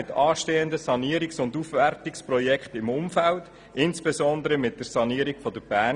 Mit den anstehenden Sanierungs- und Aufwertungsprojekten im Umfeld soll es ebenfalls Synergien geben.